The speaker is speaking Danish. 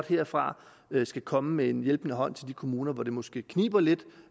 herfra skal komme med en hjælpende hånd til de kommuner hvor det måske kniber lidt